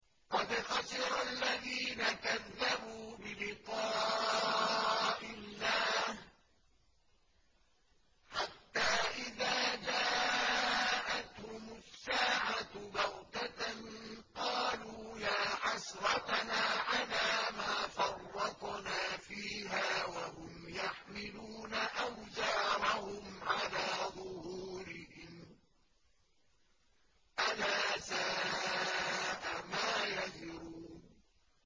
قَدْ خَسِرَ الَّذِينَ كَذَّبُوا بِلِقَاءِ اللَّهِ ۖ حَتَّىٰ إِذَا جَاءَتْهُمُ السَّاعَةُ بَغْتَةً قَالُوا يَا حَسْرَتَنَا عَلَىٰ مَا فَرَّطْنَا فِيهَا وَهُمْ يَحْمِلُونَ أَوْزَارَهُمْ عَلَىٰ ظُهُورِهِمْ ۚ أَلَا سَاءَ مَا يَزِرُونَ